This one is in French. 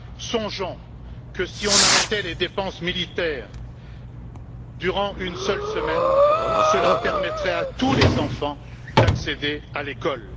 Songeons que si nous arrêtions les dépenses militaires durant une seule semaine, cela permettrait à tous les enfants d'accéder à l'école.